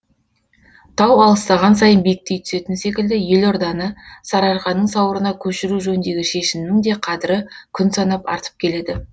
тау алыстаған сайын биіктей түсетін секілді елорданы сарыарқаның сауырына көшіру жөніндегі шешімнің де қадірі күн санап артып келеді